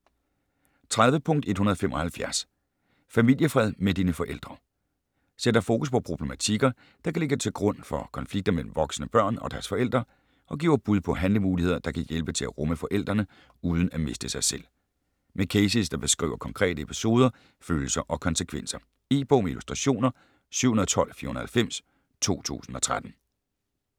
30.175 Familiefred med dine forældre Sætter fokus på problematikker, der kan ligge til grund for konflikter mellem voksne børn og deres forældre, og giver bud på handlemuligheder, der kan hjælpe til at rumme forældrene uden at miste sig selv. Med cases der beskriver konkrete episoder, følelser og konsekvenser. E-bog med illustrationer 712490 2013.